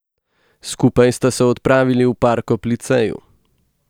Skupaj sta se odpravili v park ob liceju.